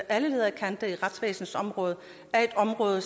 alle ledder og kanter er et område